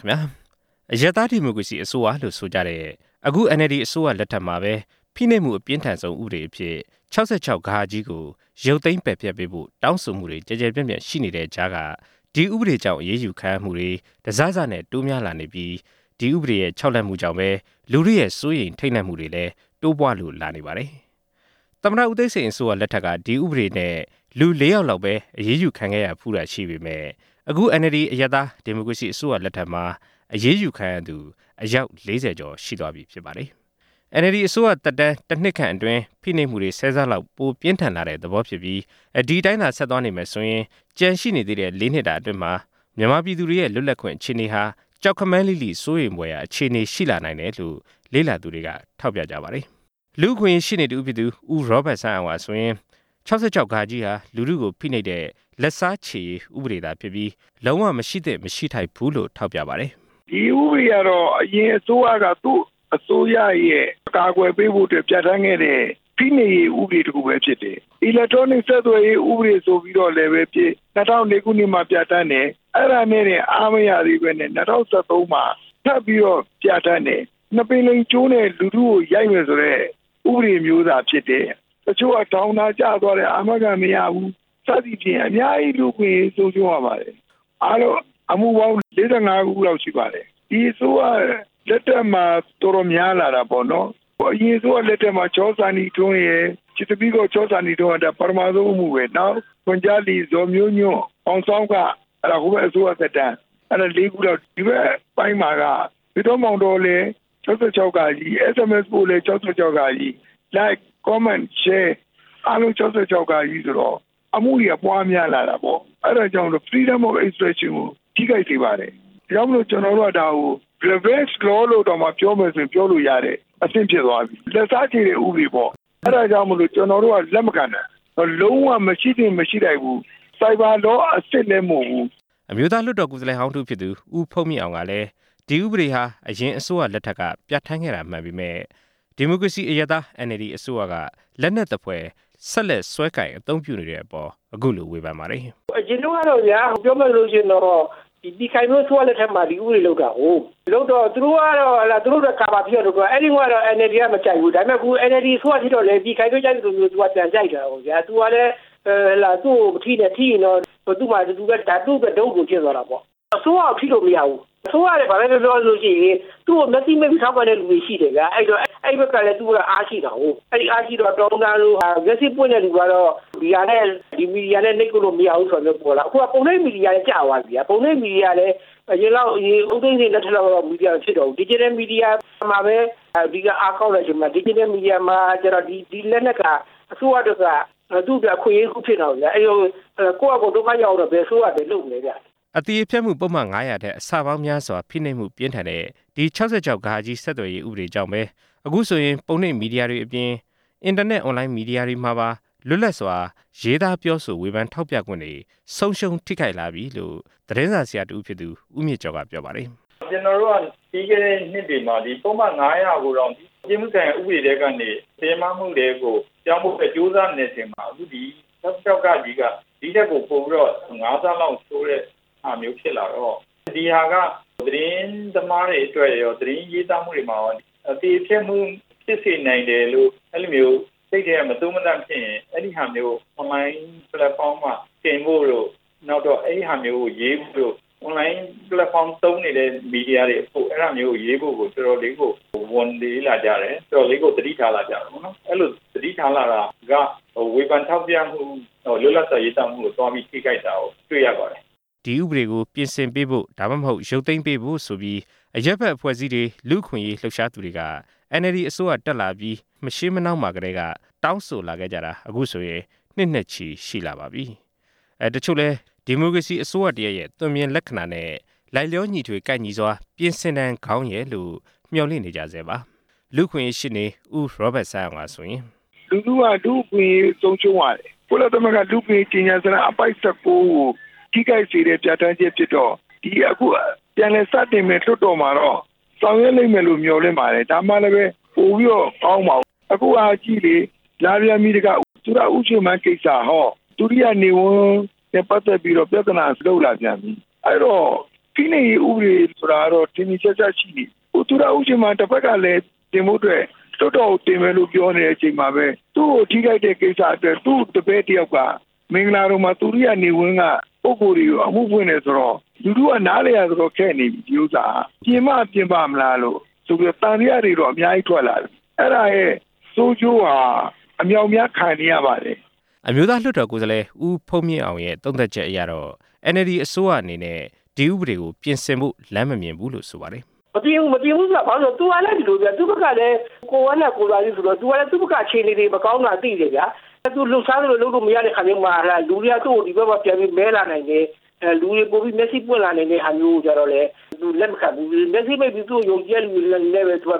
ခင်ဗျား အရပ်သား ဒီမိုကရေစီအစိုးရလို့ဆိုကြတဲ့ အခု NLD အစိုးရလက်ထက်မှာပဲ ဖိနှိပ်မှုအပြင်းထန်ဆုံး ဥပဒေအဖြစ် ၆၆ ကို ရုပ်သိမ်းပယ်ဖျက်ပေးဖို့ တောင်းဆိုမှုတွေ ကျယ်ကျယ်ပြန့်ပြန့်ရှိနေတဲ့ကြားက ဒီဥပဒေကြောင့် အရေးယူခံရမှုတွေ တစစနဲ့ တိုးများလာနေပြီး၊ ဒီဥပဒေရဲ့ ခြောက်လှန့်မှုကြောင့်ပဲ လူထုရဲ့ စိုးရိမ်ထိန့်လန့်မှုတွေလည်း တိုးပွားလို့လာနေပါတယ်။ သမ္မတဦးသိန်းစိန်အစိုးရလက်ထက်က ဒီဥပဒေနဲ့ လူ ၄ ဦးလောက်ပဲ အရေးယူခံရတာရှိခဲ့ပေမယ့် အခု NLD အရပ်သား ဒီမိုကရေစီအစိုးရလက်ထက်မှာ အရေးယူခံရသူ အယောက် ၄၀ ကျော်ရှိသွားပြီဖြစ်ပါတယ်။ အန်အယ်လ်ဒီ အစိုးရသစ်သက်တမ်း တစ်နှစ်ခန့်အတွင်း ဖိနှိပ်မှုတွေ ၁၀ ဆလောက် ပိုပြင်းထန်လာတဲ့သဘော ဖြစ်ပြီး၊ ဒီအတိုင်းဆက်သွားနေရင် ကျန်ရှိနေသေးတဲ့ ၄ နှစ်တာအတွင်း မြန်မာပြည်သူတွေရဲ့ လွတ်လပ်ခွင့် အခြေအနေဟာ ကြောက်ခမန်းလိလိ စိုးရိမ်ဖွယ်ရာအခြေအနေရှိတယ်လို့ လေ့လာသူတွေက ထောက်ပြကြပါတယ်။ လူ့အခွင့်အရေးရှေ့နေတစ်ဦးဖြစ်သူ ဦးရောဘတ်စန်းအောင်ကဆိုရင် ၆၆ ဟာ လူထုကို ဖိနှိပ်တဲ့ လက်စားချေရေးဥပဒေသာဖြစ်ပြီး၊ လုံးဝမရှိသင့် မရှိထိုက်တဲ့ ဥပဒေလို့ ထောက်ပြပါတယ်။ “ဒီဥပဒေကတော့ အရင်အစိုးရက သူ့အစိုးရရဲ့အကာအကွယ်ပေးဖို့အတွက် ပြဌာန်းခဲ့တဲ့ ဖိနှိပ်ရေးဥပဒေတစ်ခုပဲ ဖြစ်တယ်၊ အီလက်ထရောနစ်ဆက်သွယ်ရေး ဥပဒေဆိုပြီးလည်းပဲဖြစ်၊ ၂၀၀၄ ခုနှစ်မှာပြဌာန်းတယ်၊ အဲဒါနဲ့တင်အားမရသေးပဲနဲ့ ၂၀၁၃ ခုနှစ်မှာ ထပ်ပြီးတော့ ပြဌာန်းတယ်၊ နှစ်ပင်လိမ်ကြိုးနဲ့ လူထုကိုရိုက်မယ်ဆိုတဲ့ ဥပဒေမျိုးသာဖြစ်တယ်၊ တချို့က ထောင်သာကျသွားတယ် အာမခံမရဘူး စသည်ဖြင့် အများကြီး လူ့အခွင့်အရေးဆုံးရှုံးရပါတယ်” “အားလုံးအမှုပေါင်း ၄၅ မှုလောက်ရှိပါတယ်၊ ဒီအစိုးရလက်ထက်မှာတော်တော်များလာတာပေါ့နော်၊ အရင်အစိုးရလက်ထက်မှာ ချစ်သမီး ချောစန္ဒီထွန်းက ပထမဆုံးအမှုပဲ၊ နောက် ဇော်မျိုးညွန့်၊ မောင်ဆောင်းခ၊ အဲဒါ ဟိုဘက်အစိုးရသက်တမ်း။ အဲဒါ ခုလောက်။ ဒီဘက်ပိုင်းမှာက ဖေတော့ မောင်တော့လည်း ၆၆ ၊ SMS ပို့လည်း ၆၆ ၊ လိုက်ခ် ၊ ကွန်းမန့် ၊ ရှဲ အားလုံး ၆၆ ဆိုတော့ အမှုတွေက ပွားများလာတာပေါ့။ အဲဒါကြောင့်မို့လို့ Freedom of Expression ကို ထိခိုက်စေပါတယ်။ ဒါကြောင့်မို့လို့ ကျွန်တော်တို့က ဒါကို Revenge Law လို့တောင်မှ ပြောမယ်ဆိုရင် ပြောလို့ရတဲ့အဆင့်ဖြစ်သွားပြီ၊ လက်စားချေတဲ့ ဥပဒေပေါ့၊ အဲဒါကြောင့်မို့လို့ ကျွန်တော်တို့က လက်မခံတာ၊ လုံးဝမရှိသင့်၊ မရှိထိုက်ဘူး၊ Cyber Law အစစ်လည်း မဟုတ်ဘူး” အမျိုးသားလွှတ်တော်ကိုယ်စားလှယ်ေဟာင်းတစ်ဦးဖြစ်သူ ဦးဖုန်းမြင့်အောင်ကလည်း ဒီဥပဒေဟာ အရင်အစိုးရလက်ထက်က ပြဌာန်းခဲ့တာမှန်ပေမယ့် ဒီမိုကရေစီ အရပ်သား NLD အစိုးရက လက်နက်သဖွယ် ဆက်လက်ကိုင်စွဲ အသုံးပြုနေတဲ့အပေါ် အခုလို ဝေဖန်ပါတယ်။ “အရင်တုံးကတော့ဗျာ၊ ပြောမယ်ဆိုလို့ရှိရင်တော့ ပြည်ခိုင်ဖြိုးအစိုးရလက်ထက်မှာ ဒီဥပဒေလုပ်တာကိုး၊ သူတို့ကတော့ သူတို့ကာဗာဖြစ်အောင်လုပ်တာ၊ အဲဒီတုံးကတော့ အန်အယ်လ်ဒီက မကြိုက်ဘူး၊ ဒါပေမယ့် အခု အန်အယ်လ်ဒီအစိုးရဖြစ်တော့လည်း ပြည်ခိုင်ဖြိုးအစိုးရကြိုက်သလိုမျိုးသူက ပြန်ကြိုက်တာပေါ့ဗျာ၊ သူကလည်း ဟုတ်လား…သူ့ကို မထိနဲ့၊ ထိရင်တော့ သူ့မှာ ဒါအတူတူ သူ့အတွက် တုတ်လိုဖြစ်သွားတာပေါ့” “အစိုးရကို ထိလို့မရဘူး၊ အစိုးရက ဘာပဲပြောပြော သူ့ကို မျက်စိမှိတ်ပြီးထောက်ခံတဲ့သူရှိတယ်ဗျာ၊ အဲဒီတော့ အဲဒီဘက်ကလည်း သူ့အတွက်အားရှိတာကိုး၊ အဲဒီတော့ အားရှိတော့ တော်ရုံတန်ရုံလိုဟာ မျက်စိပွင့်တဲ့လူ ကတော့ ဒီဟာနဲ့ ဒီမီဒီယာနဲ့ နှိပ်ကွပ်လို့ မရဘူးဆိုတဲ့ဟာပေါ်လာတယ်၊ အခုဟာက ပုံနှိပ်မီဒီယာလည်း ကျသွားပြီဗျာ၊ ပုံနှိပ်မီဒီယာလည်း အရင်လောက်၊ အရင်ဦးသိန်းစိန်လက်ထက်လောက် မီဒီယာ မဖြစ်တော့ဘူး၊ ဒီဂျစ်တယ်မီဒီယာမှာပဲ အဓိကအားကောင်းတဲ့အချိန်မှာ ဒီဂျစ်တယ်မီဒီယာမှာကျတော့ ဒီလက်နက်က အစိုးရအတွက်က သူ့အတွက် အခွင့်အရေးတစ်ခုဖြစ်နေတာပေါ့ဗျာ၊ အဲဒီတော့ ကိုယ့်ဟာကို ဒုက္ခရောက်အောင်တော့ အစိုးရက ဘယ်လုပ်မလဲဗျ” အသရေဖျက်မှု ပုဒ်မ ၅၀၀ ထက် အဆပေါင်းများစွာ ဖိနှိပ်မှုပြင်းထန်တဲ့ ဒီ ၆၆ ဆက်သွယ်ရေး ဥပဒေကြောင့် အခုဆိုရင် ပုံနှိပ်မီဒီယာတွေအပြင် အင်တာနက် အွန်လိုင်းမီဒီယာတွေမှာပါ လွတ်လပ်စွာ ရေးသားပြောဆို ဝေဖန်ထောက်ပြခွင့်တွေ ဆုံးရှုံးထိခိုက်လာပြီလို့ သတင်းစာဆရာတစ်ဦးဖြစ်သူ ဦးမြင့်ကျော်က ပြောပါတယ်။ “ကျွန်တော်တို့က ပြီးခဲ့တဲ့နှစ်တွေမှာ ပုဒ်မ ကိုတောင် ပြစ်မှုဆိုင်ရာဥပဒေထဲကနေ တရားမမှုထဲကို ပြောင်းဖို့အတွက် ကြိုးစားနေတဲ့အချိန်မှာ အခုဒီ ၆၆ က ဒီထက်ပိုပြီးတော့ ၅ ဆလောက်ဆိုးတဲ့ဟာမျိုး ဖြစ်လာတော့ ဒီဟာက သတင်းသမားတွေအတွက်ရော၊ သတင်းရေးသားမှုတွေမှာရော အသရေဖျက်မှုဖြစ်စေနိုင်တယ်လို့ အဲဒီလိုမျိုး စိတ်ထဲမသိုးမသန့်ဖြစ်ရင် အဲဒီဟာမျိုးကို အွန်လိုင်းပလက်ဖောင်းပေါ်တင်ဖို့တို့၊ အဲဒီလိုဟာမျိုးကို ရေးဖို့တို့၊ အွန်လိုင်းပလက်ဖောင်းသုံးနေတဲ့ မီဒီယာတွေအဖို့ အဲဒါမျိုးကိုရေးဖို့ကို တော်တော်လေးကို ဝန်လေးလာကြတယ်၊ တော်တော်လေးကို သတိထားလာကြတာပေါ့နော်၊ အဲလိုသတိထားလာတာက ဝေဖန်ထောက်ပြမှု၊ လွတ်လပ်စွာရေးသားမှုကို သွားပြီးထိခိုက်တာ တွေ့ရပါတယ်” ဒီဥပဒေကို ပြင်ဆင်ပေးဖို့ ရုတ်သိမ်းပေးဖို့ဆိုပြီး အရပ်ဖက်အဖွဲ့အစည်းတွေ၊ လူ့အခွင့်အရေး လှုပ်ရှားသူတွေက အန်အယ်လ်ဒီအစိုးရသစ်တက်လာပြီး မရှေးမနှောင်းမှာကတည်းက တောင်းဆိုခဲ့ကြတာ အခုဆိုရင် နှစ်နဲ့ချီ ရှိလာပါပြီ။ တချို့လည်း ဒီမိုကရေစီအစိုးရတစ်ရပ်ရဲ့ သွင်ပြင်လက္ခဏာနဲ့ လိုက်လျောညီထွေကိုက်ညီစွာ ပြင်ဆင်တန်ကောင်းရဲ့လို့ မျှော်လင့်နေကြဆဲပါ။ လူ့အခွင့်အရေး ရှေ့နေ ဦးရောဘတ်စန်းအောင်က ဆိုရင်… “လူထုက လူ့အခွင့်အရေးဆုံးရှုံးရတယ်၊ ကုလသမဂ္ဂလူ့အခွင့်အရေးကြေညာစာတမ်းအပိုဒ် ကို ထိခိုက်စေတဲ့ ပြဌာန်းချက်ဖြစ်တော့ ဒီအခု ပြန်လည်စတင်မယ့်လွှတ်တော်မှာတော့ ဆောင်ရွက်လိမ့်မယ်လို့ မျှော်လင့်ပါတယ်၊ ဒါမှလည်းပဲ ပိုပြီးတော့ ကောင်းမှာပေါ့။ အခုဟာက ကြည့်လေ၊ လာပြန်ပြီတခါ သူရဦးရွှေမန်းကိစ္စ..ဟော၊ သူရိယနေဝန်းနဲ့ပတ်သက်ပြီးတော့ ပြဿနာလုပ်လာပြန်ပြီ၊ အဲဒီတော့ ဖိနှိပ်ရေးဥပဒေဆိုတာတော့ ထင်ထင်ရှားရှားရှိနေပြီ၊ အခုသူရဦးရွှေမန်းတဘက်ကလည်း ပြင်ဖို့အတွက် လွှတ်တော်ကိုတင်မယ်လို့ ပြောနေတဲ့အချိန်မှာပဲ သူ့ကိုထိခိုက်တဲ့ကိစ္စအတွက် သူ့တပည့်တစ်ယောက်က မင်္ဂလာဒုံမှာ သူရိယနေဝန်းကပုဂ္ဂိုလ်တွေကိုအမှုဖွင့်တယ်ဆိုတော့ လူထုက နားလည်ရတော်တော်ခက်နေပြီ ဒီဥစ္စာက…ပြင်မှပြင်ပါ့မလားလို့ဆိုပြီးတော့ သံသယတွေတော့ အများကြီးထွက်လာတယ်၊ အဲဒါရဲ့ ဆိုးကျိုးဟာ အမြောက်အများခံနေရပါတယ်” အမျိုးသားလွှတ်တော်ကိုယ်စားလှယ် ဦးဖုန်းမြင့်အောင်ရဲ့ သုံးသပ်ချက်အရတော့ အန်အယ်လ်ဒီအစိုးရအနေနဲ့ ဒီဥပဒေကို ပြင်ဆင်ဖို့ လမ်းမမြင်ဘူးလို့ ဆိုပါတယ်။ “မပြင်ဘူး၊ မပြင်ဘူးဆိုတာ ဘာလို့လဲဆိုတော့၊ သူ့ဘက်ကလည်း ကိုယ့်ဝမ်းနာ ကိုယ်သာသိဆိုတော့ သူကလည်း သူ့ဘက်က အခြေအနေတွေမကောင်းတာ သိတယ်ဗျာ၊ သူလှုပ်ရှားလို့ လုပ်လို့မရတဲ့အခါမျိုးမှာ လူတွေက သူ့ကို ဒီဘက်မှာ ပြန်ပြီးမဲလာနိုင်တယ်၊ လူတွေပိုပြီးမျက်စိပွင့်လာနိုင်တဲ့ဟာမျိုးကိုကျတော့လည်း သူလက်မခံဘူး၊ မျက်စိမှိတ်ပြီး သူ့ကိုယုံကြည်တဲ့သူတွေနဲ့ပဲဆက်ေလျှာ